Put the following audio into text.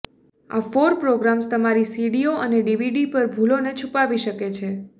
આ four programs તમારી સીડીઓ અને ડીવીડી પર ભૂલોને છુપાવી શકે છે